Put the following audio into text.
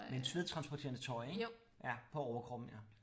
Men svedtransporterende tøj ik ja på overkroppen ja